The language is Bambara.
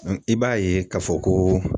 i b'a ye k'a fɔ ko